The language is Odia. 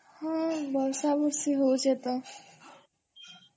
ହଁ ବର୍ଷା ବର୍ଷୀ ହଉଛେ ତ